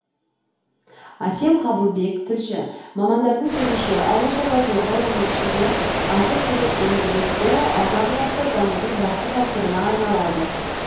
әсем қабылбек тілші мамандардың сөзінше ауыл шаруашылығы оның ішінде азық түлік өндірісі алдағы уақытта дамудың басты факторына айналады